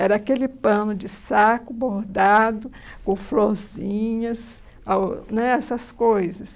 Era aquele pano de saco bordado com florzinhas, a o né essas coisas.